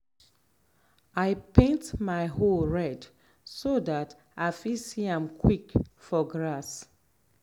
i paint my hoe red so dat i fit see am quick for grass.